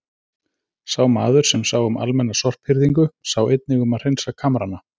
Sá maður, sem sá um almenna sorphirðingu, sá einnig um að hreinsa kamrana.